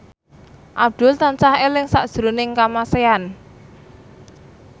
Abdul tansah eling sakjroning Kamasean